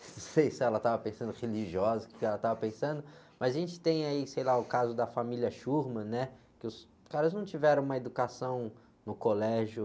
Não sei se ela estava pensando religiosa, o que ela estava pensando, mas a gente tem aí, sei lá, o caso da família, né? Que os caras não tiveram uma educação no colégio,